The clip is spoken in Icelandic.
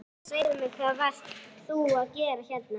Einar, segðu mér hvað varst þú að gera hérna?